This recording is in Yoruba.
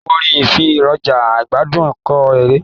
Àwọn orin nfi èrọja igbadun kun èrè.